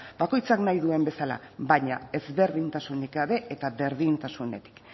bakoitzak nahi duen bezala baina ezberdintasunik gabe eta berdintasunetik